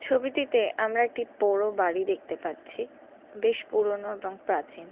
ছবিটিতে আমরা একটি পোড়ো বাড়ি দেখতে পাচ্ছি বেশ পুরনো এবং প্রাচীন।